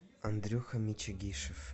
андрюха мичигишев